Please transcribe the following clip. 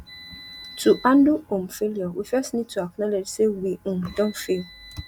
to handle um failure we first need to acknowledge sey we um don fail